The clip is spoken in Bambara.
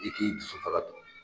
I k'i jusu faga